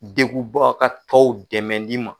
Degubakatɔw dɛmɛli ma.